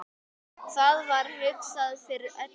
Það var hugsað fyrir öllu.